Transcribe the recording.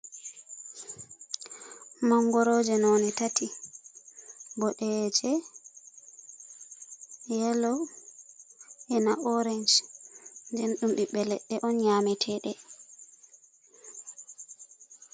Manngorooje none tati boɗeeje, yelo ina oreec nden ɗum ɓiɓɓe leɗɗe on nyamiteɗe.